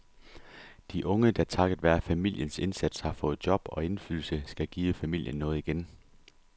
De unge, der takket være familiens indsats har fået job og indflydelse, skal give familien noget igen.